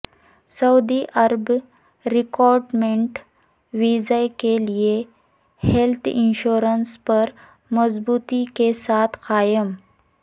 سعودی عرب recruitment visa کے لئے ہیلت انشورنس پر مضبوطی کے ساتھ قائم